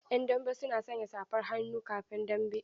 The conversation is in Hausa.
'Yan dambe suna sanya safar hannu kafin dambe.